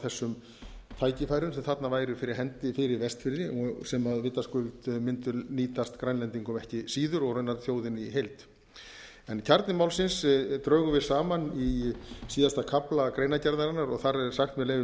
þessum tækifærum sem þarna væru fyrir hendi fyrir vestfirði sem vitaskuld mundu nýtast grænlendingum ekki síður og raunar þjóðinni í heild kjarna málsins drögum við saman í síðasta kafla greinargerðarinnar og þar höfum við sagt með leyfi